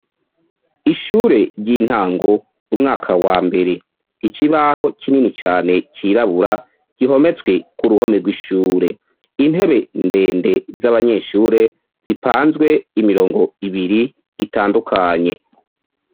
Ishure ry'intango umwaka wa mbere; Ikibaho kinini cane cirabura gihometswe ku ruhome rw'ishure. Intebe ndende z'abanyeshure zipanzwe imirongo ibiri itandukanye.